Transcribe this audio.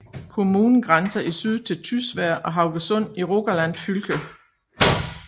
Kommunen grænser i syd til Tysvær og Haugesund i Rogaland fylke